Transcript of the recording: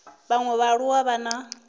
vhaṅwe vhaaluwa a vha na